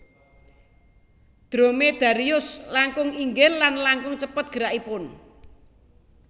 Dromedarius langkung inggil lan langkung cepet gerakipun